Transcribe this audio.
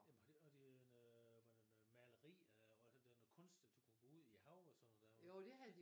Jamen var det og det en øh var det noget maleri og det noget kunst du kunne gå ud i hav og sådan noget der